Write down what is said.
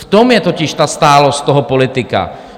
V tom je totiž ta stálost toho politika.